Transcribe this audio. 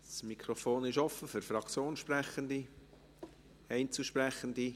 Das Mikrofon ist offen für Fraktionssprechende – für Einzelsprechende.